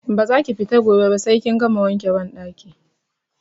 Ba za ki fita gobe ba sai kin gama wanke banɗaki!